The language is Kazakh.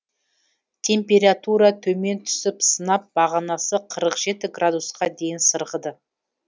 температура төмен түсіп сынап бағанасы қырық жеті градусқа дейін сырғыды